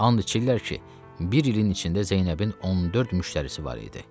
And içirlər ki, bir ilin içində Zeynəbin 14 müştərisi var idi.